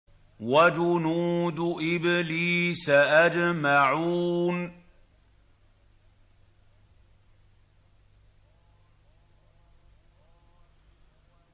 وَجُنُودُ إِبْلِيسَ أَجْمَعُونَ